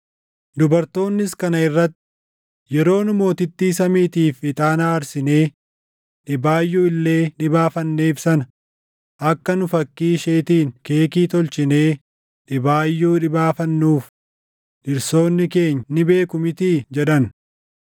Dubartoonnis kana irratti, “Yeroo nu Mootittii Samiitiif ixaana aarsinee dhibaayyuu illee dhibaafanneef sana akka nu fakkii isheetiin keekii tolchinee dhibaayuu dhibaafannuuf dhirsoonni keenya ni beeku mitii?” jedhan.